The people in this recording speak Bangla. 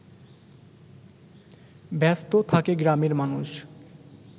ব্যস্ত থাকে গ্রামের মানুষ